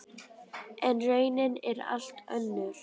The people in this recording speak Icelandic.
En raunin er allt önnur.